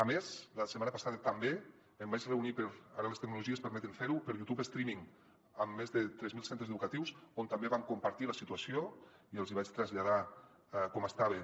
a més la setmana passada també em vaig reunir per ara les tecnologies permeten fer ho youtube streaming amb més de tres mil centres educatius on també vam compartir la situació i els hi vaig traslladar com estava